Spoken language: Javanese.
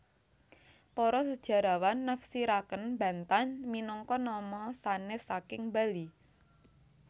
Para sejarawan nafsiraken Bantan minangka nama sanes saking Bali